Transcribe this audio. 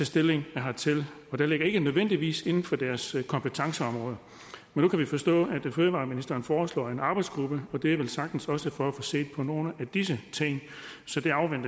stilling hertil det ligger ikke nødvendigvis inden for deres kompetenceområde men nu kan vi forstå at fødevareministeren foreslår en arbejdsgruppe og det er velsagtens også for at få set på nogle af disse ting så